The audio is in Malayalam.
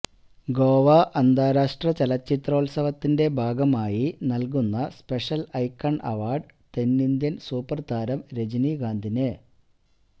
ഗോവ അന്താരാഷ്ട്ര ചലചിത്രോത്സവത്തിന്റെ ഭാഗമായി നൽകുന്ന സ്പെഷ്യൽ ഐക്കണ് അവാർഡ് തെന്നിന്ത്യൻ സൂപ്പർ താരം രജനികാന്തിന്